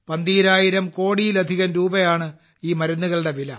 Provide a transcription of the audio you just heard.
12000 കോടിയിലധികം രൂപയാണ് ഈ മരുന്നുകളുടെ വില